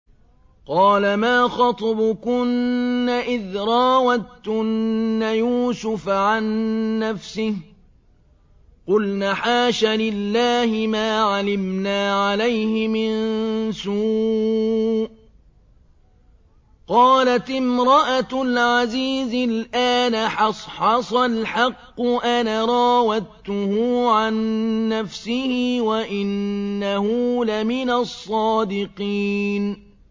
قَالَ مَا خَطْبُكُنَّ إِذْ رَاوَدتُّنَّ يُوسُفَ عَن نَّفْسِهِ ۚ قُلْنَ حَاشَ لِلَّهِ مَا عَلِمْنَا عَلَيْهِ مِن سُوءٍ ۚ قَالَتِ امْرَأَتُ الْعَزِيزِ الْآنَ حَصْحَصَ الْحَقُّ أَنَا رَاوَدتُّهُ عَن نَّفْسِهِ وَإِنَّهُ لَمِنَ الصَّادِقِينَ